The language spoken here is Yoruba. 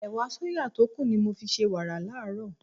Ẹ̀wà sóyà tó kù ni mo fi ṣe wàrà láàárọ̀.